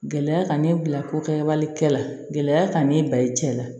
Gɛlɛya ka ne bila ko kɛwali kɛla gɛlɛya ka ne ba i cɛ la